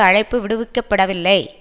அழைப்பு விடுவிக்கப்படவில்லை